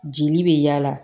Jeli bɛ yaala